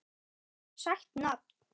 Sætt nafn.